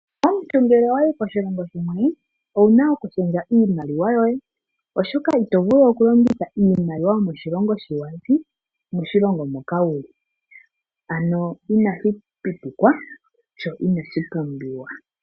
Omuntu ngele wayo koshilongo shimwe owuna oku shendja iimaliwa yoye oshoka itovulu oku longitha iimaliwa yomoshilongo shi wazi moshilongo moka wuuka ano inashi pitikwa sho inashi pumbiwa.